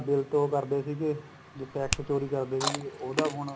bill ਤੋ ਉਹ ਕਰਦੇ ਸੀਗੇ ਜਿਹੜਾ tax ਚੋਰੀ ਕਰਦੇ ਸੀ ਉਹਦਾ ਹੁਣ